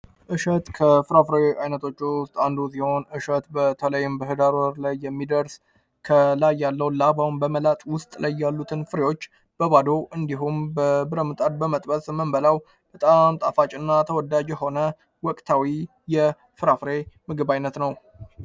እሸት ከፍራፍሬ ዓይነቶች ውስጥ አንዱ ሲሆን፤ እሸት በተለይም በኅዳር ወር ላይ የሚደርስ ከላይ ያለው ላባውን በመላጥ ውስጥ ላይ ያሉትን ፍሬዎች በባዶ እንዲሁም በብረትምጣድ በመጣድ የምንበላው በጣም ጣፋጭ እና ተወዳጅ የሆነ ወቅታዊ የፍራፍሬ ምግብ አይነት ነው።